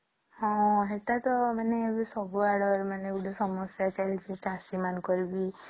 ହଁ ହେଟା ତ ମାନେ ସବୁ ଆଡେ ମାନେ ଗୋଟେ ସମସ୍ୟା ଚାଲିଛି ଚାଷୀ ମାନଙ୍କର ବି